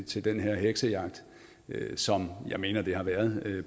til den her heksejagt som jeg mener at det har været